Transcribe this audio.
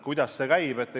Kuidas see käib?